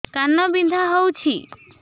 କାନ ବିନ୍ଧା ହଉଛି